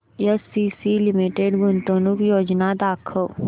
ACC limited गुंतवणूक योजना दाखव